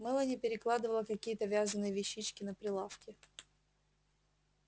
мелани перекладывала какие-то вязаные вещички на прилавке